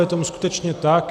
Je tomu skutečně tak.